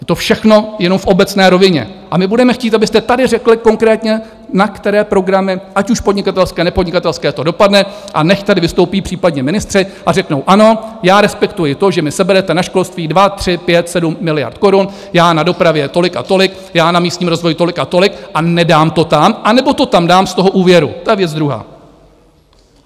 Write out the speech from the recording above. Je to všechno jenom v obecné rovině a my budeme chtít, abyste tady řekli konkrétně, na které programy, ať už podnikatelské, nepodnikatelské, to dopadne, a nechť tady vystoupí případně ministři a řeknou: Ano, já respektuji to, že mi seberete na školství 2, 3, 5, 7 miliard korun, já na dopravě tolik a tolik, já na místním rozvoji tolik a tolik, a nedám to tam anebo to tam dám z toho úvěru, to je věc druhá.